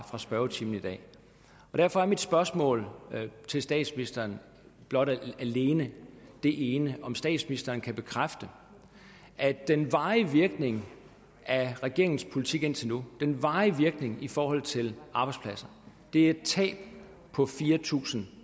spørgetimen i dag derfor er mit spørgsmål til statsministeren alene det ene om statsministeren kan bekræfte at den varige virkning af regeringens politik indtil nu den varige virkning i forhold til arbejdspladser er et tab på fire tusind